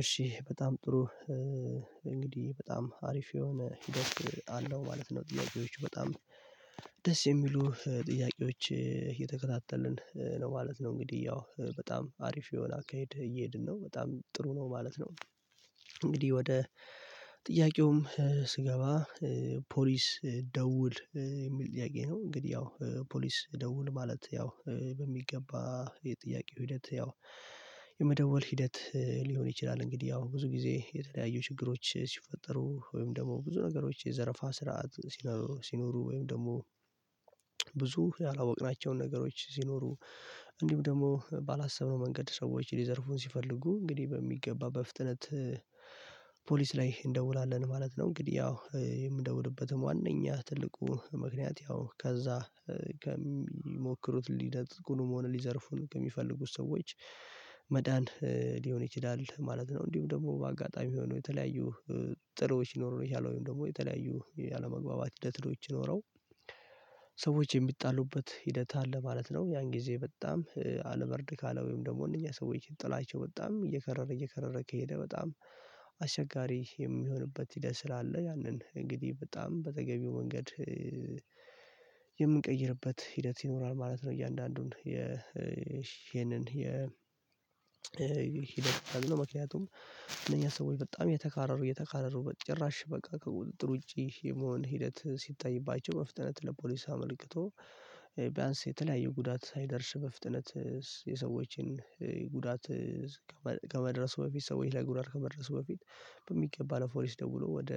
እሺ በጣም ጥሩ እንግዲህ በጣም አሪፍ የሆነ ሂደት አለው ማለት ነው። ጥያቄዎቹ በጣም ደስ የሚሉ ጥያቄዎች እየተከታተልን ነው ማለት ነው። እንግዲህ ያው በጣም አሪፍ የሆነ አካሄድ እየሄድን ነው በጣም ጥሩ ነው ማለት ነው። እንግዲህ ወደ ጥያቄውም ስገባ ፖሊስ ደውል የሚል ጥያቄ ነው። እንግዲህ ያው ፖሊስ ደውል ማለት ያው በሚገባ የጥያቄው ሂደት ያው የመደወል ሂደት ሊሆን ይችላል። እንግዲህ አሁን ብዙ ጊዜ የተለያዩ ችግሮች ሲፈጠሩ ወይም ደግሞ ብዙ ነገሮች የዘረፋ ስርዓት ሲኖሩ ወይም ደግሞ ብዙ ያላወቅናቸውን ነገሮች ሲኖሩ እንዲሁም ደግሞ ባላሰብነው መንገድ ሰዎች ሊዘርፉን ሲፈልጉ እንግዲህ በሚገባ በፍጥነት ፖሊስ ላይ እንደውላለን ማለት ነው። እንግዲህ ያው የምደውልበትም ዋነኛ ትልቁ ምክንያት ያው ከዛ ከሚሞክሩት ሊነጥቁን መሆን ሊዘርፉን ከሚፈልጉት ሰዎች መዳን ሊሆን ይችላል ማለት ነው። እንዲሁ ደግሞ በአጋጣሚ ሆኖ የተለያዩ ጥሎች ይኖሩ የቻለው ወይም ደግሞ የተለያዩ ያለመግባባት ሂደትዎች ይኖረው ሰዎች የሚጣሉበት ሂደት አለ ማለት ነው። ያን ጊዜ በጣም አልበርድ ካለ ወይም ደግሞ እነኚህ ሰዎች የጥላቸው በጣም እየከረረ እየከረረ ከሄደ በጣም አሸጋሪ የሚሆንበት ሂደት ስላለ ያንን እንግዲህ በጣም በተገቢው መንገድ የምንቀይርበት ሂደት ይኖራል ማለት ነው። እያንዳንዱን የ ይሄንን የ ሂደት አዝኖ ምክንያቱም ለኛ ሰዎች በጣም የተካረሩ የተካረሩ በጭራሽ በቃ ከቁጥጥር ውጪ የመሆን ሂደት ሲታይባቸው በፍጥነት ለፖሊስ አምልክቶ ቢያንስ የተለያየ ጉዳት ሳይደርስ በፍጥነት የሰዎችን ጉዳት ከመድረሱ በፊት ሰዎች ላይ ጉዳት ከመድረሱ በፊት በሚገባ ለፖሊስ ደውሎ ወደ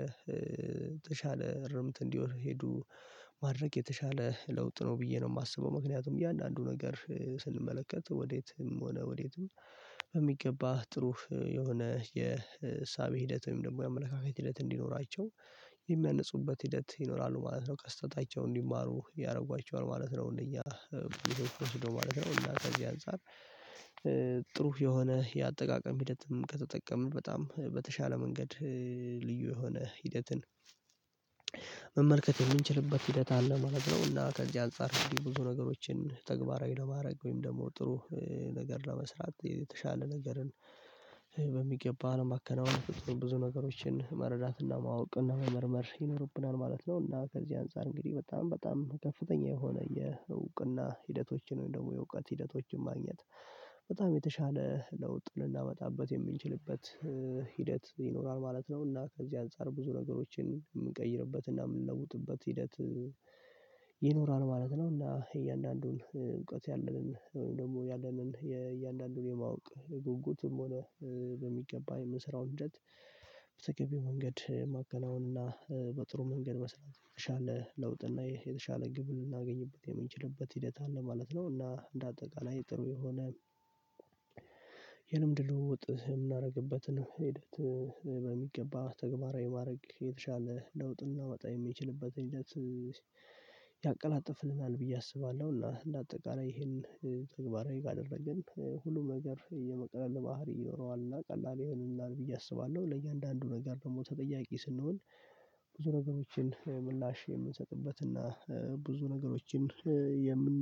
ተሻለ እረምት እንዲሄዱ ማድረግ የተሻለ ለውጥ ነው። ብዬ ነው የማስበው ምክንያቱም እያንዳንዱ ነገር ስንመለከት ወዴትም ሆነ ወዴትም በሚገባህ ጥሩህ የሆነ የእሳቤ ሂደት ወይም ደግሞ የአመለካከት ሂደት እንዲኖራቸው የሚያነጹበት ሂደት ይኖራሉ ማለት ነው ከስተታቸው እንዲማሩ ያደርጓቸዋል ማለት ነው። እንደኛ ወስዶ ማለት ነው እና ከዚህ አንፃር ጥሩ የሆነ የአጠቃቀም ሂደትም ከተጠቀመ በጣም በተሻለ መንገድ ልዩ የሆነ ሂደትን መመልከት የምንችልበት ሂደት አለ ማለት ነው። እና ከዚህ አንፃር እንዲህ ብዙ ነገሮችን ተግባራዊ ለማድረግ ወይም ደግሞ ጥሩ ነገር ለመስራት የተሻለ ነገርን በሚገባ አለም አከናውንተን ብዙ ነገሮችን መረዳትና ማወቅና መመርመር ይኖርብናል ማለት ነው። እና ከዚህ አንፃር እንግዲህ በጣም በጣም ከፍተኛ የሆነ የእውቅና ሂደቶችን ወይም ደግሞ የእውቀት ሂደቶችን ማግኘት በጣም የተሻለ ለውጥ ልናመጣበት የምንችልበት ሂደት ይኖራል ማለት ነው። እና ከዚህ አንፃር ብዙ ነገሮችን የምንቀይርበት እና የምንለውጥበት ሂደት ይኖራል ማለት ነው። እና እያንዳንዱን እውቀት ያለንን ደግሞ ያለንን የእያንዳንዱን የማወቅ ጉጉትም ሆነ በሚገባ የምንሰራው እንደት በተገቢ መንገድ ማከናወን እና በጥሩ መንገድ መስራት የተሻለ ለውጥ እና የተሻለ ግብ ልናገኝበት የምንችልበት ሂደት አለ ማለት ነው። እና እንደ አጠቃላይ ጥሩ የሆነ የልምድ ለውጥ የምናደርግበትን ሂደት በሚገባ ተግባራዊ ማድረግ የተሻለ ለውጥ እናመጣ የሚችልበትን ሂደት ያቀላጥፍልናል ብዬ አስባለሁ እና እንደ አጠቃላይ ይሄን ተግባራዊ ካደረግን ሁሉም ነገር የመቅለል ባህሪ ይኖረዋል እና ቀላል ይሆንልናል ብዬ አስባለሁ። ለእያንዳንዱ ነገር ደግሞ ተጠያቂ ስንሆን ብዙ ነገሮችን ምላሼ የምንሰጥበት እና ብዙ ነገሮችን የምን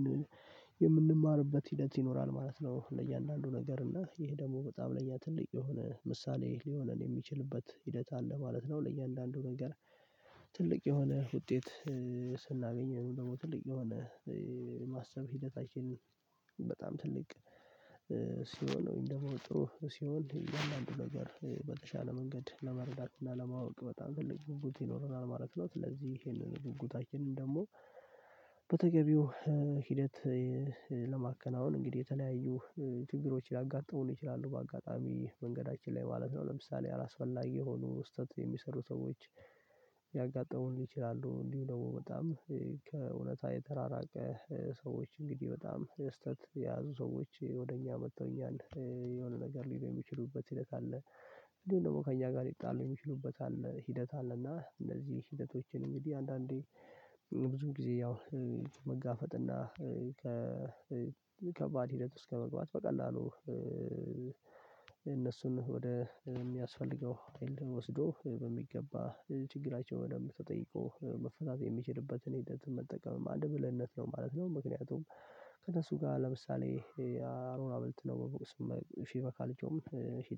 የምንማርበት ሂደት ይኖራል ማለት ነው። ለእያንዳንዱ ነገር እና ይሄ ደግሞ በጣም ለእኛ ትልቅ የሆነ ምሳሌ ሊሆነን የሚችልበት ሂደት አለ ማለት ነው። ለእያንዳንዱ ነገር ትልቅ የሆነ ውጤት ስናገኝ ደግሞ ትልቅ የሆነ ማሰብ ሂደታችን በጣም ትልቅ ሲሆን ነው ጥሩ ሲሆን አያንዳንድ ነገር በተሻለ መንገድ ለመረዳት እና ለማወቅ በጣም ትልቅ ጉጉት ይኖረናል ማለት ነው። ስለዚህ ይሄንን ጉጉታችንን ደግሞ በተገቢው ሂደት ለማከናወን እንግዲህ የተለያዩ ችግሮች ሊያጋጥሙን ይችላሉ በአጋጣሚ መንገዳችን ላይ ማለት ነው። ለምሳሌ አላስፈላጊ የሆኑ ስህተት የሚሰሩ ሰዎች ያጋጠሙልኝ ይችላሉ። እንዲህ ደግሞ በጣም ከእውነት የተራራቀ ሰዎች እንግዲህ በጣም ስህተት የያዙ ሰዎች ወደ እኛ መጥተውኛል የሆነ ነገር ሊሆን የሚችሉበት ሲል ካለ እንዴ ደግሞ ከእኛ ጋር ሊጣለው የሚችሉበት አለ ሂደት አለ። እና እንደዚህ ሂደቶችን እንግዲህ አንዳንዴ ብዙ ጊዜ ያው መጋፈጥ እና ከ ከባድ ሂደት ውስጥ ከመግባት በቀላሉ እነሱን ወደ የሚያስፈልገው አይን ወስዶ በሚገባ ችግራቸውን የምትጠይቀው መፈታት የሚችልበትን ህይወት መጠቀም አንድ ብልህነት ነው ማለት ነው። ምክንያቱም ከእነሱ ጋር ለምሳሌ አሮና ብልት ነው በቦቅ ስም ሺህ በካ ልጆም ሺህ